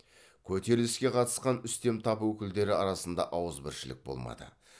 көтеріліске қатысқан үстем тап өкілдері арасында ауызбіршілік болмады